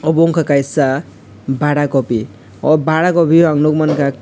obo wngka kaisa badakopi o badapori ang nongmanka.